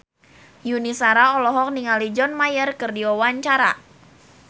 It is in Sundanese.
Yuni Shara olohok ningali John Mayer keur diwawancara